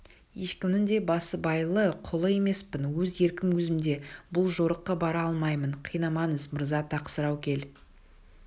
ешкімнің де басыбайлы құлы емеспін өз еркім өзімде бұл жорыққа бара алмаймын қинамаңыз мырза тақсыр-ау ел